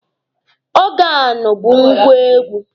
Ọgaanụ bụ ngwá egwu.